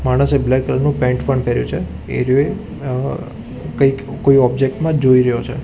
માણસે black colour નું pant પણ પહેર્યું છે એ રીયો અ એ કંઈક કોઈ ઓબ્જેક્ટ માં જ જોઈ રહ્યો છે.